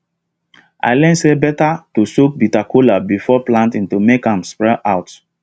i learn say better to soak bitter kola before planting to make am sprout well